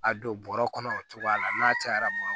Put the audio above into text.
A don bɔrɔ kɔnɔ o cogoya la n'a cayara